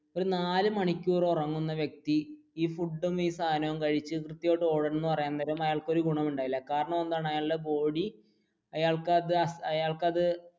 ഒരു നാല് മണിക്കൂർ ഉറങ്ങുന്ന വ്യക്തി ഫുഡും ഈ സാധനവും കഴിച്ചു അയാൾക്ക് ഒരു ഗുണവും ഉണ്ടാകില്ല കാരണം എന്താണ് അയാളുടെ body അയാൾക് അത് അയാൾക് അത്